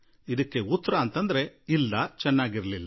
ಇದಕ್ಕೆ ಉತ್ತರ ಇಲ್ಲ ಎನ್ನುವುದಾಗಿದೆ